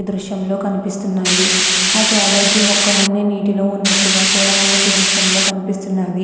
దృశ్యం లో అనిపిస్తున్నాయి ఆ క్యాబేజి మొక్కలు అన్నీ నీటిలో ఉన్నట్టుగ కూడా మనకి దృశ్యం లో కనిపిస్తున్నవి.